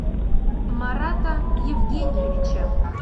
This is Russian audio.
марата евгеньевича